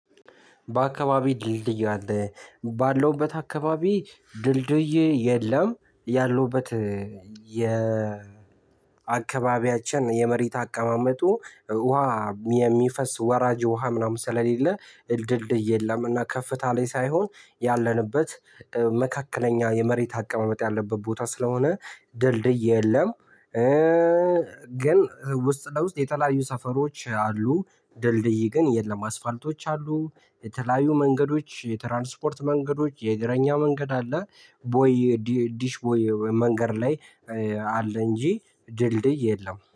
በአካባቢ ድልድይ አለ? ባለውበት አካባቢ ድልድይ የለም ያለውበት የ አካባቢያችን የመሬት አቀማመጡ ውሃ የሚፈስ ወራጅ ውሃ ምናምን ስለሌለ ድልድይ የለም እና ከፍታ ላይ ሳይሆን ያለንበት መካከለኛ የመሬት አቀማመጥ ያለበት ቦታ ስለሆነ ድልድይ የለም ግን ውስጥ ለውስጥ የተለያዩ ሰፈሮች አሉ ድልድይ ግን የለም አስፋልቶች አሉ የተለያዩ መንገዶች የትራንስፖርት መንገዶች የእግረኛ መንገድ አለ ቦይ ዲሽ ቦይ መንገድ ላይ አለ እንጂ ድልድይ የለም